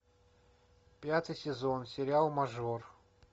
пятый сезон сериал мажор